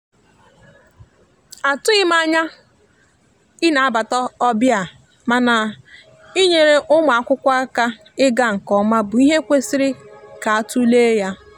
atughim anya ị na bata ọbịa mana ị nyere ụmụakwụkwọ aka ịga nke oma bụ ihe kwesiri ka atule ya.